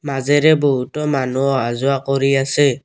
মাজেৰে বহুতো মানুহ অহাযোৱা কৰি আছে।